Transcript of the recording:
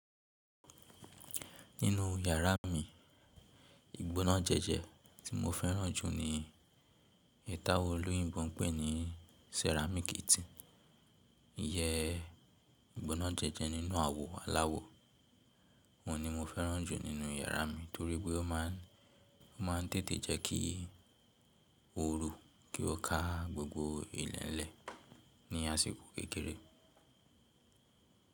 Nínú yàrá mi, ìgbóná jẹjẹ tí mo fẹ́ràn jù ni, èyi táwon olóyìnbó n pẹ́ ní sẹ́ràmíkì ti, ìyẹ́ ìgbóná jẹjẹ nínú àwo aláwọ. Oun ni mo fẹ́ràn jù nínú yàrá mi torí pé o máa ń, o máa ń tètè jẹ́ kí ooru, kí o ká gbogbo ileẹ̀lẹ̀ ní àsìkò kékeré.